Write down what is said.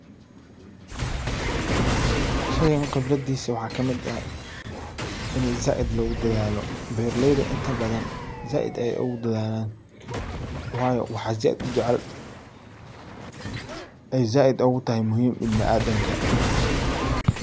Shaygan qibradiisa waxaa kamid ah ini zaiid loogu dadaalo. Beeraleyda inta badan zaiid ayay ogu dadaalan wayo waxaa zaiid u jecel ay zaiid ogu tahay muhiim ibniadamka dhirta.